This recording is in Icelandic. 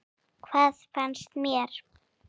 Hvað fannst mér?